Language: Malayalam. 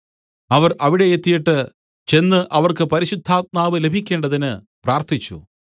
അവർ അവിടെ എത്തിയിട്ട് ചെന്ന് അവർക്ക് പരിശുദ്ധാത്മാവ് ലഭിക്കേണ്ടതിന് പ്രാർത്ഥിച്ചു